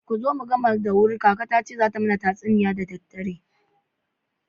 Kuzo mu gama da wuri kaka tace zata mana tatsuniya da daddare.